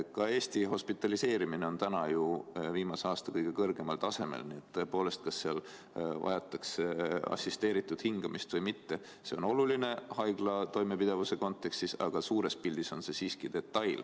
Ka Eesti hospitaliseerimine on praegu ju viimase aasta kõige kõrgemal tasemel, nii et tõepoolest, kas seal vajatakse assisteeritud hingamist või mitte, see on oluline haigla toimepidevuse kontekstis, aga suures pildis on see siiski detail.